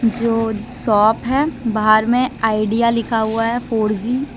जो शॉप हैं बाहर में ऑडिया लिखा हुआ हैं फोर जी ।